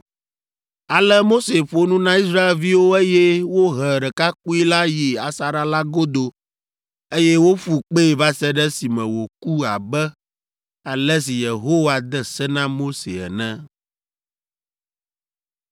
Ale Mose ƒo nu na Israelviwo eye wohe ɖekakpui la yi asaɖa la godo, eye woƒu kpee va se ɖe esime wòku abe ale si Yehowa de se na Mose ene.